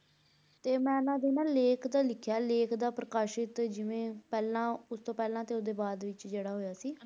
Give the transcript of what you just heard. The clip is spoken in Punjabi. ਤੇ ਮੈਂ ਇਹਨਾਂ ਤੇ ਨਾ ਲੇਖ ਤਾਂ ਲਿਖਿਆ ਲੇਖ ਦਾ ਪ੍ਰਕਾਸ਼ਿਤ ਜਿਵੇਂ ਪਹਿਲਾਂ ਉਸ ਤੋਂ ਪਹਿਲਾਂ ਤੇ ਉਸ ਦੇ ਬਾਅਦ ਵਿੱਚ ਜਿਹੜਾ ਹੋਇਆ ਸੀ,